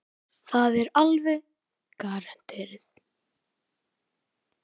Það er alveg garanterað.